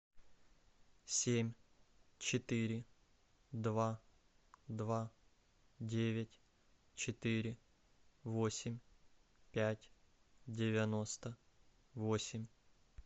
семь четыре два два девять четыре восемь пять девяносто восемь